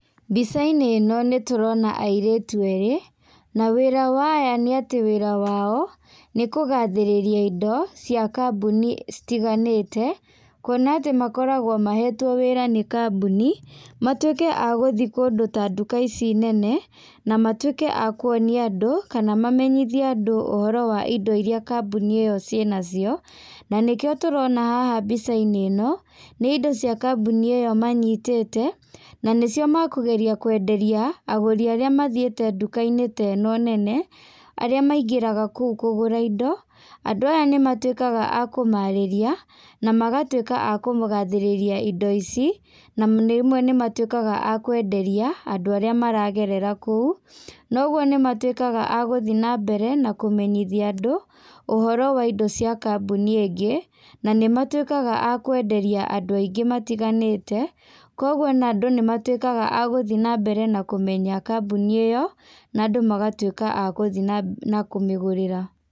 Mbica-inĩ ĩno nĩtũrona airĩtu erĩ, na wĩra wa aya nĩ atĩ wĩra wao, nĩ kũgathĩrĩrĩa indo cia kambuni citiganĩte, kwona atĩ makoragwo mahetwo wĩra nĩ kambuni, matuĩke a gũthiĩ kũndũ ta nduka ici nene, na matuĩke akwonia andũ kana mamenyithie andũ ũhoro wa indo iria kambuni ĩyo ciĩnacio, na nĩkĩo tũrona haha mbica-inĩ ĩno, nĩ indo cia kambuni ĩyo manyitĩte, na nĩcio makũgeria kwenderia agũri arĩa mathiĩte nduka-inĩ teno nene, arĩ maingĩraga kũu kũgũra indo, andũ aya nĩ matuĩkaga a kũmarĩria, na magatuĩka a kũmũgathĩrĩria indo ici, na rĩmwe nĩ matuĩkaga akwenderia andũ arĩa maragerera kũu, noguo nĩ matuĩkaga a gũthiĩ na mbere na kũmenyithia andũ ũhoro wa indo cia kambuni ĩngĩ, na nĩmatuĩkaga akwenderia andũ aingĩ matiganĩte, kogwo ona andũ nĩ matuĩkaga a gũthiĩ na mbere na kũmenya kambuni ĩyo, na andũ magatuĩka akũmenya na kũmĩgũrĩra.